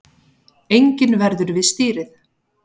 Enginn verður við stýrið